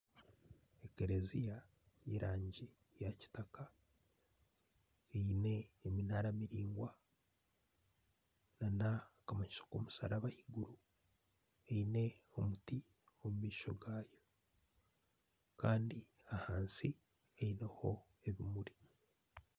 Harumu ekereziya y'erangi ya kitaka eine eminara miringwa n'akamanyiso k'omusaraba ah'iguru eyine omuti omumaisho gayo kandi ahansi eineho ebimuri.